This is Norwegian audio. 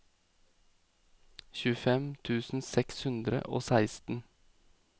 tjuefem tusen seks hundre og seksten